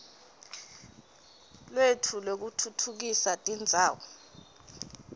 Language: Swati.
lwetfu lwekutfutfukisa tindzawo